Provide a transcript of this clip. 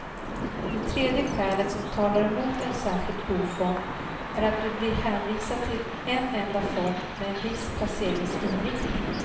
Det tredje skälet som talar emot en särskild bofond är att du blir hänvisad till en enda fond med en viss placeringsinriktning.